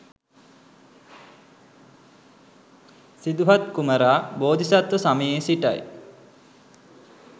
සිදුහත් කුමරා බෝධිසත්ව සමයේ සිටයි.